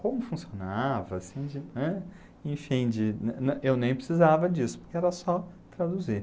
Como funcionava, assim de, né, enfim, eu nem precisava disso, porque era só traduzir.